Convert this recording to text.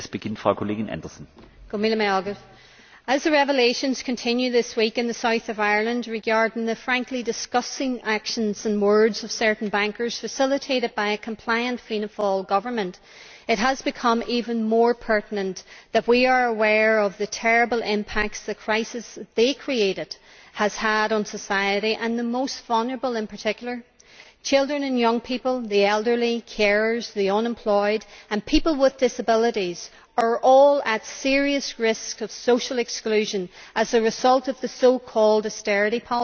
Mr President, as the revelations continue this week in the south of Ireland regarding the frankly disgusting actions and words of certain bankers, facilitated by a compliant Fianna Fáil government, it has become even more pertinent that we are aware of the terrible impact the crisis they created has had on society, and on the most vulnerable in particular. Children and young people, the elderly, carers, the unemployed and people with disabilities are all at serious risk of social exclusion as a result of the so called austerity policies.